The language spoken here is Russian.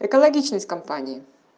экологичность компании